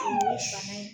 Bana in